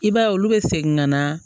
I b'a ye olu bɛ segin ka na